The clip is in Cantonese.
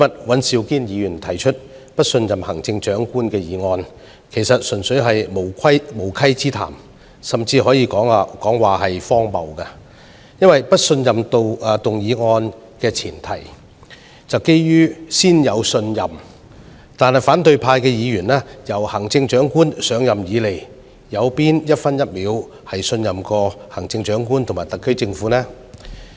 尹兆堅議員今天提出"對行政長官投不信任票"議案，其實純粹是無稽之談，甚至可說是荒謬的，因為不信任議案的大前提是要先有信任，但自行政長官上任以來，反對派議員有哪分、哪秒曾信任行政長官和特區政府呢？